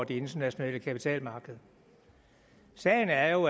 det internationale kapitalmarked sagen er jo